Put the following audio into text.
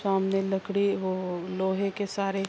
سامنے لکدی اور لوہے کے سارے--